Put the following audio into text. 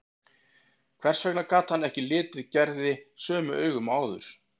Hvers vegna gat hann ekki litið Gerði sömu augum og áður?